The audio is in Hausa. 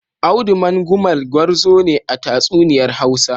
Audu Mangumal gwarzo ne a tatsuniyar Hausa.